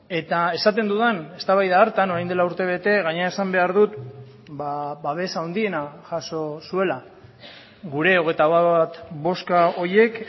eta esaten dudan eztabaida hartan orain dela urtebete gainera esan behar dut babes handiena jaso zuela gure hogeita bat boska horiek